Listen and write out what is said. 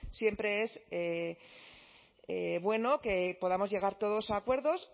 siempre es bueno que podamos llegar todos a acuerdos